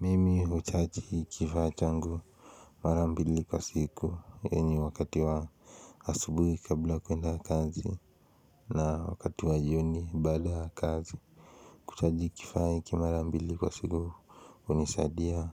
Mimi huchaji kifaa changu mara mbili kwa siku yenye wakati wa asubuhi kabla kuenda kazi na wakati wa jioni baada ya kazi. Kuchaji kifaa hiki mara mbili kwa siku hunisaidia